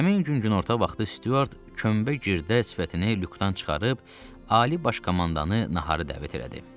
Həmin gün günorta vaxtı Stüart kömbə gırdə sifətini lükdən çıxarıb, ali baş komandanı naharı dəvət elədi.